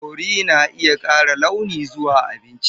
Curry na iya ƙara launi zuwa abinci.